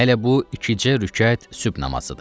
Hələ bu 2cə rükət sübh namazıdır.